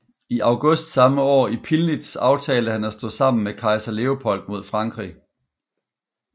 I august samme år i Pillnitz aftalte han at stå sammen med kejser Leopold mod Frankrig